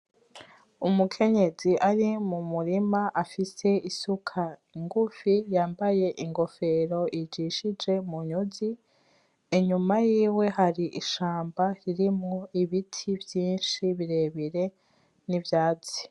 Umukenyezi ari mu murima afise isuka ngufi yambaye ingofero ijishije mu nyuzi inyuma yiwe hari ishamba ririmwo ibiti vyishi birebire n'ivyatsi.